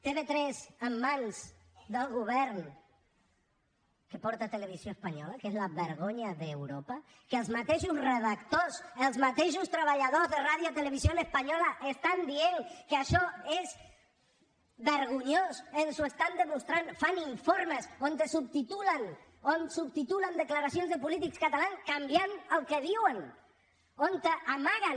tv3 en mans del govern que porta televisió espanyola que és la vergonya d’europa que els mateixos redactors els mateixos treballadors de radiotelevisión española estan dient que això és vergonyós ens ho estan demostrant fan informes on subtitulen declaracions de polítics catalans canviant el que diuen on amaguen